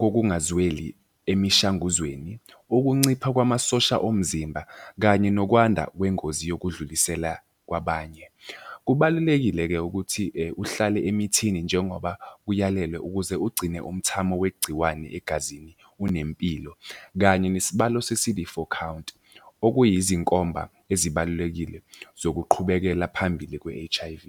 kokungazweli emishanguzweni, ukuncipha kwamasosha omzimba, kanye nokwanda kwengozi yokudlulisela kwabanye. Kubalulekile-ke ukuthi uhlale emithini njengoba uyalelwe ukuze ugcine umthamo wegciwane egazini unempilo kanye nesibalo se-C_D four count, okuyizinkomba ezibalulekile zokuqhubekela phambili kwe-H_I_V.